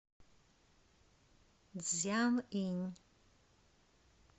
цзянъинь